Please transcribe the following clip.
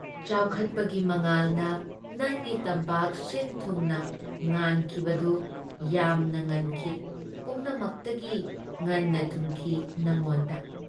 ꯆꯥꯎꯈꯠꯄꯒꯤ ꯃꯉꯥꯜꯅ ꯅꯪꯒꯤ ꯇꯝꯄꯥꯛ ꯁꯤꯟ-ꯊꯨꯡꯅ ꯉꯥꯟꯈꯤꯕꯗꯨ ꯌꯥꯝꯅ ꯉꯟꯈꯤ ꯄꯨꯝꯅꯃꯛꯇꯒꯤ ꯉꯟꯅ ꯊꯨꯡꯈꯤ ꯅꯉꯣꯟꯗ ꯫